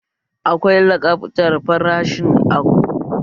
Akwai lakabtar farashi a kowane kayan da ke cikin babban kanti